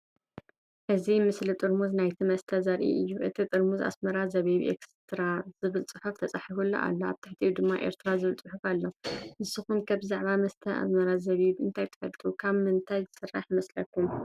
እዚ ምስሊ ጥርሙዝ ናይቲ መስተ ዘርኢ እዩ። እቲ ጥርሙዝ “ኣስማራ ዚቢብ ኤክስትራ” ዝብል ጽሑፍ ተጻሒፉሉ ኣሎ፡ ኣብ ትሕቲኡ ድማ “ኤርትራ” ዝብል ጽሑፍ ኣሎ። ንስኩም ከ ብዛዕባ መስተ “ኣስመራ ዚቢብ” እንታይ ትፈልጡ? ካብ ምንታይ ይስራሕ ይመስለኩም?